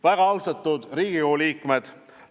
Väga austatud Riigikogu liikmed!